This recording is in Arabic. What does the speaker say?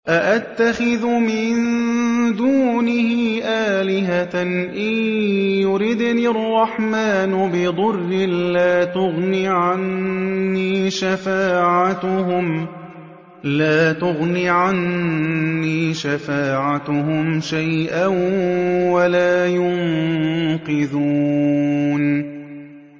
أَأَتَّخِذُ مِن دُونِهِ آلِهَةً إِن يُرِدْنِ الرَّحْمَٰنُ بِضُرٍّ لَّا تُغْنِ عَنِّي شَفَاعَتُهُمْ شَيْئًا وَلَا يُنقِذُونِ